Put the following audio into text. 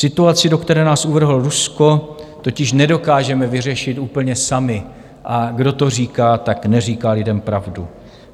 Situaci, do které nás uvrhlo Rusko, totiž nedokážeme vyřešit úplně sami, a kdo to říká, tak neříká lidem pravdu.